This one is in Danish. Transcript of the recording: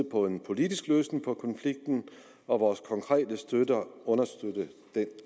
på en politisk løsning på konflikten og vores konkrete støtte understøtter den